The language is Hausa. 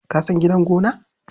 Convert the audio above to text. Ka san gidan gona?